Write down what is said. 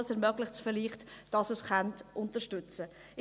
Dies ermöglicht vielleicht, dass Sie es unterstützen können.